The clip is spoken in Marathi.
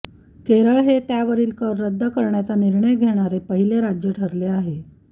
केरळ हे त्यावरील कर रद्द करण्याचा निर्णय घेणारे पहिले राज्य ठरले आहे